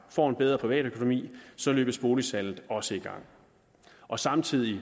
får en bedre privatøkonomi løbes boligsalget også i gang og samtidig